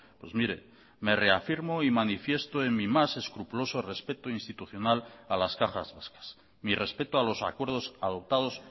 pues mire me reafirmo y manifiesto en mi más escrupuloso respeto institucional a las cajas vascas mi respeto a los acuerdos adoptados